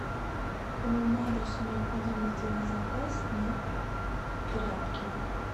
по моему адресу необходимо сделать заказ на тряпки